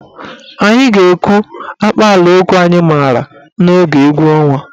Anyị ga-ekwu akpaalaokwu anyị maara n'oge egwu ọnwa.